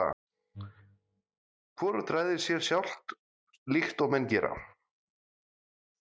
Hvorugt ræður sér sjálft, líkt og menn gera.